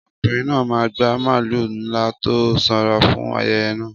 Ọkùnrin náà máa gba màlúù ńlá tó sanra fún ayẹyẹ náà.